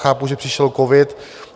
Chápu, že přišel covid.